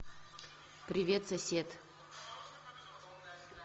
привет сосед